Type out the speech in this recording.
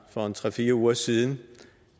fra tre fire uger siden